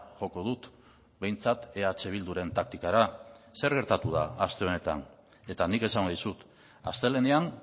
joko dut behintzat eh bilduren taktikara zer gertatu da aste honetan eta nik esango dizut astelehenean